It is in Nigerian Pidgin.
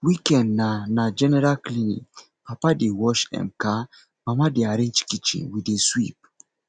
weekend na na general cleaning papa dey wash um car mama dey arrange kitchen we dey sweep